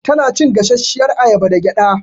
Tana cin gasashiyar ayaba da gƴaɗa